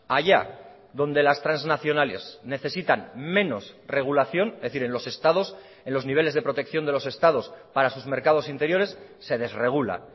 allá donde las transnacionales necesitan menos regulación es decir en los estados en los niveles de protección de los estados para sus mercados interiores se desregula